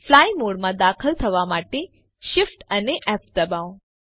fly મોડમાં દાખલ થવા માટે Shift અને ફ દબાવો